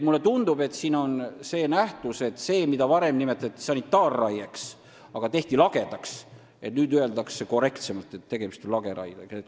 Mulle tundub, et siin ilmneb selline nähtus, et nendel juhtudel, mida varem nimetati sanitaarraieks, ehkki kõik tehti lagedaks, öeldakse nüüd korrektsemalt, et tegemist on lageraiega.